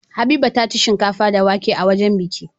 Habiba taci shinkafa da wake a wajan biki